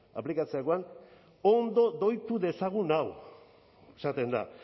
aplikatzerakoan ondo doitu dezagun hau esaten da